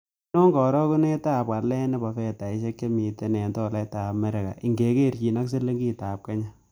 Ainon karogunetap walet ne po fedaisiek chemiten eng' tolaitap amerika ingekerchinen silingitap kenya